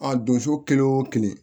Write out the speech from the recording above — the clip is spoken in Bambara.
A donso kelen o kelen